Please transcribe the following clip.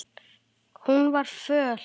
Hún var föl.